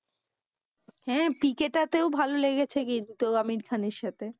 হ্যা PK টাতেও ভালো লেগেছে কিন্তু আমির খানের সাথে।